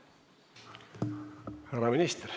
Härra minister.